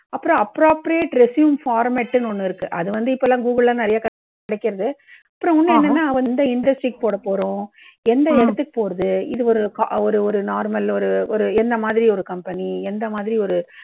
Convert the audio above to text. அப்புறம் appropriate resume format ன்னு ஒண்ணு இருக்கு. அது வந்து இப்போல்லாம் கூகுள்ல எல்லாம் நிறைய கிடைக்கறது. அப்புறம் இன்னும் என்னென்னா எந்த industry க்கு போடப் போறோம். எந்த இடத்துக்கு போறது. இது ஒரு ஒரு ஒரு normal ஒரு ஒரு எந்த மாதிரி ஒரு company எந்த மாதிரி ஒரு